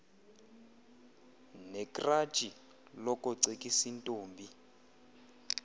nekratshi lokocekis intombi